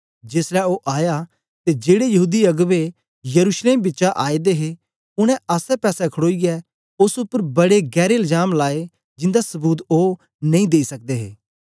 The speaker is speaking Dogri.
जेसलै ओ आया ते जेड़े यहूदी अगबें यरूशलेम बिचा आए दे हे उनै आसेपासे खड़ोईयै ओस उपर बडे गैरें लजाम लाए जिंदा सबूत ओ नेई देई सकदे हे